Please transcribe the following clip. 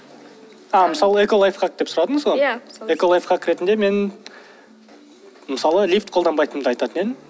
а мысалы эколайфхак деп сұрадыңыз ғой иә эколайфхак ретінде мен мысалы лифт қолданбайтынымды айтатын едім